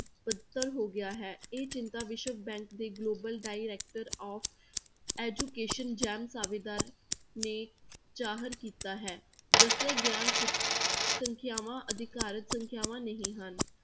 ਬਦਤਰ ਹੋ ਗਿਆ ਹੈ ਇਹ ਚਿੰਤਾ ਵਿਸ਼ਵ bank ਦੇ global director of education ਸੇਵਾਦਾਰ ਨੇ ਜ਼ਾਹਰ ਕੀਤਾ ਹੈ, ਦੱਸੀਆਂ ਗਈਆਂ ਸੰਖਿਆਵਾਂ ਅਧਿਕਾਰਕ ਸੰਖਿਆਵਾਂ ਨਹੀਂ ਹਨ,